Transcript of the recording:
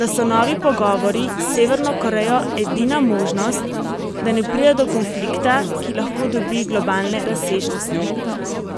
da so novi pogovori s Severno Korejo edina možnost, da ne pride do konflikta, ki lahko dobi globalne razsežnosti.